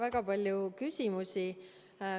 Väga palju küsimusi.